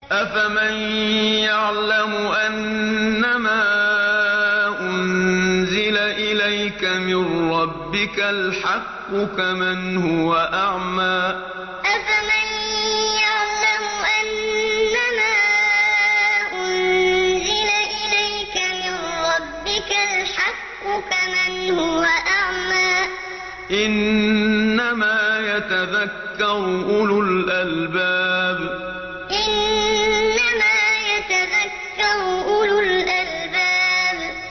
۞ أَفَمَن يَعْلَمُ أَنَّمَا أُنزِلَ إِلَيْكَ مِن رَّبِّكَ الْحَقُّ كَمَنْ هُوَ أَعْمَىٰ ۚ إِنَّمَا يَتَذَكَّرُ أُولُو الْأَلْبَابِ ۞ أَفَمَن يَعْلَمُ أَنَّمَا أُنزِلَ إِلَيْكَ مِن رَّبِّكَ الْحَقُّ كَمَنْ هُوَ أَعْمَىٰ ۚ إِنَّمَا يَتَذَكَّرُ أُولُو الْأَلْبَابِ